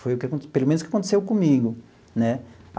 Foi o que acon pelo menos o que aconteceu comigo né.